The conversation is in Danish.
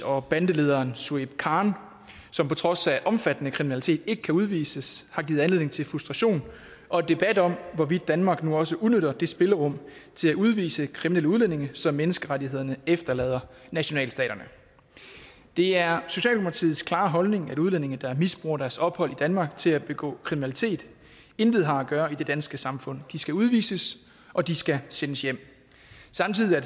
og bandelederen shuaib khan som på trods af omfattende kriminalitet ikke kan udvises har givet anledning til frustration og debat om hvorvidt danmark nu også udnytter det spillerum til at udvise kriminelle udlændinge som menneskerettighederne efterlader nationalstaterne det er socialdemokratiets klare holdning at udlændinge der misbruger deres ophold i danmark til at begå kriminalitet intet har at gøre i det danske samfund de skal udvises og de skal sendes hjem samtidig er